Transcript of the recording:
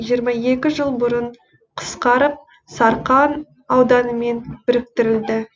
жиырма екі жыл бұрын қысқарып сарқан ауданымен біріктірілді